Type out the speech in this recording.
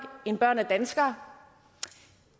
end børn af danskere